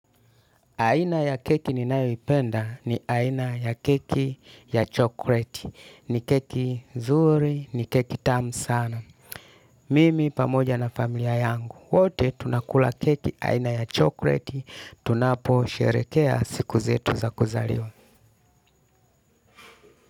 Aina ya keki ninayoipenda ni aina ya keki ya chokoleti. Ni keki zuri, ni keki tamu sana. Mimi pamoja na familia yangu. Wote tunakula keki aina ya chokoleti. Tunapo sherehekea siku zetu za kuzaliwa.